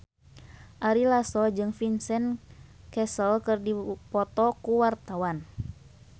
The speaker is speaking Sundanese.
Ari Lasso jeung Vincent Cassel keur dipoto ku wartawan